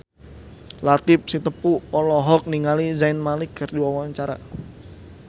Latief Sitepu olohok ningali Zayn Malik keur diwawancara